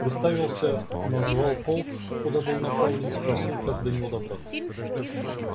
представился назвал полк куда был направлен спросил как до него добраться